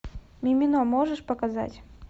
мимино можешь показать